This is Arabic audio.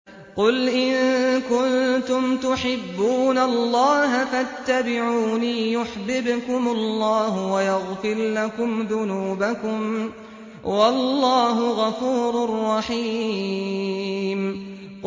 قُلْ إِن كُنتُمْ تُحِبُّونَ اللَّهَ فَاتَّبِعُونِي يُحْبِبْكُمُ اللَّهُ وَيَغْفِرْ لَكُمْ ذُنُوبَكُمْ ۗ وَاللَّهُ غَفُورٌ رَّحِيمٌ